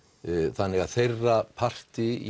þannig að þeirra parti í